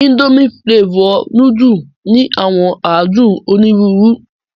Indomie flavour nùdù ni àwọn àdun onirùurù